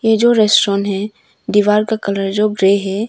ये जो रेस्टोरेंट है दीवार का कलर जो ग्रे है।